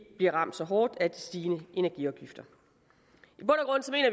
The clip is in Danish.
bliver ramt så hårdt af de stigende energiafgifter